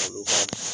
Olu